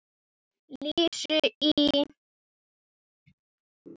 Lísu í